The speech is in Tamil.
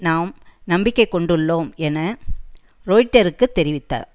நாம் நம்பிக்கை கொண்டுள்ளோம் என ரொய்ட்டருக்குத் தெரிவித்தார்